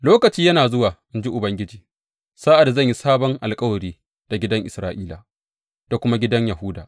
Lokaci yana zuwa, in ji Ubangiji, sa’ad da zan yi sabon alkawari da gidan Isra’ila da kuma gidan Yahuda.